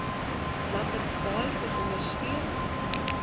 lambertsbaai kom ondersteun